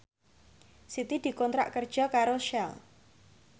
Siti dikontrak kerja karo Shell